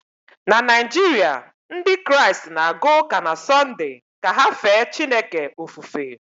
na Naijiria, Ndị Kraịst na-aga ụka na Sọnde ka ha fee Chineke ofufe